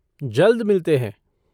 जल्द मिलते हैं।